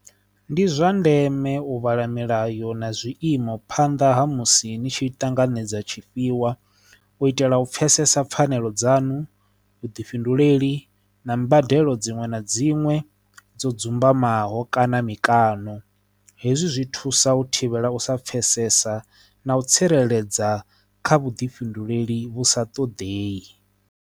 Ndi zwa ndeme u vhala milayo na zwiiimo phanḓa ha musi ni tshi ṱanganedza tshi pfhiwa u itela u pfhesesa pfhanelo dzanu vhuḓifhinduleli na mbadelo dza dziṅwe na dziṅwe hone dzo dzumba imaho kana mikano hezwi zwi thusa u thivhela u sa pfesesa na u tsireledza kha vhuḓifhinduleli vhu sa ṱoḓei.